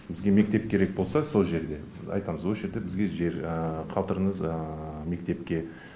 бізге мектеп керек болса сол жерден біз айтамыз осы жерде бізге жер қалдырыңыз мектепке